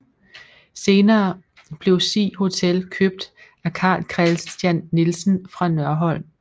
Senere blev Sig Hotel købt af Karl Kristian Nielsen fra Nørholm